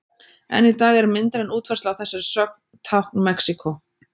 Enn í dag er myndræn útfærsla á þessari sögn tákn Mexíkó.